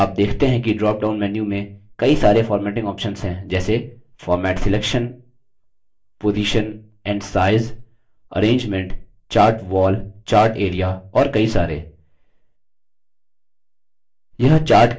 आप देखते हैं कि dropdown menu में कई सरे formatting options हैं जैसे format selection position and size arrangement chart wall chart area और कई सारे